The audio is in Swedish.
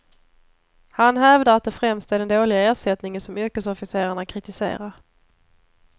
Han hävdar att det främst är den dåliga ersättningen som yrkesofficerarna kritiserar.